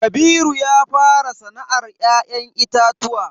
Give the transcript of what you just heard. Kabiru ya fara sana'ar ya'yan itatuwa.